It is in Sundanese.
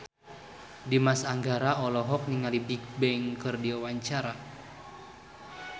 Dimas Anggara olohok ningali Bigbang keur diwawancara